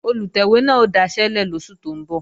Olùtẹ̀wé náà ó daṣẹ́lẹ̀ lóṣù tó ń bọ̀